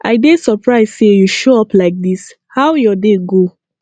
i dey surprised say you show up like this how your day go